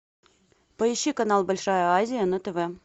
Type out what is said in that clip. поищи канал большая азия на тв